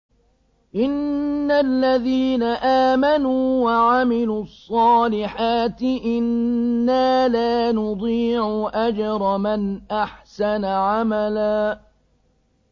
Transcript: إِنَّ الَّذِينَ آمَنُوا وَعَمِلُوا الصَّالِحَاتِ إِنَّا لَا نُضِيعُ أَجْرَ مَنْ أَحْسَنَ عَمَلًا